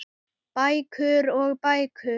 Bækur og bækur.